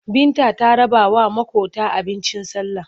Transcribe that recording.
Binta ta rabawa maƙota abincin sallah.